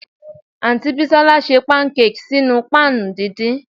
Aunty Bisola se pancakes ninu pan dindin